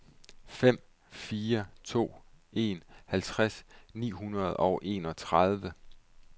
fem fire to en halvtreds ni hundrede og enogtredive